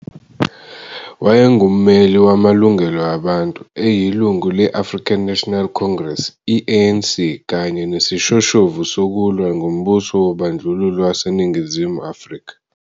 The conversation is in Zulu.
Wayengummeli wamalungelo abantu, eyilungu le- African National Congress, i-ANC, kanye nesishoshovu sokulwa ngombuso wobandlululo waseNingizimu Afrika.